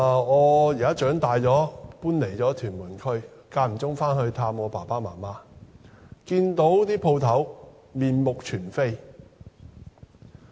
我在長大後搬離了屯門區，間中回去探望父母，看到那些店鋪已經面目全非。